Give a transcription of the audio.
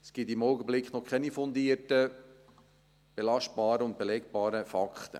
Es gibt im Augenblick noch keine fundierten belastbaren und belegbaren Fakten.